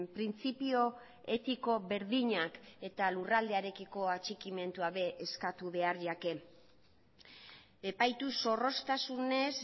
printzipio etiko berdinak eta lurraldearekiko atxikimenduak ere eskatu behar zaie epaitu zorroztasunez